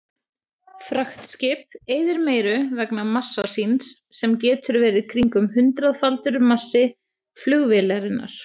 Fraktskip eyðir meiru vegna massa síns sem getur verið kringum hundraðfaldur massi flugvélarinnar.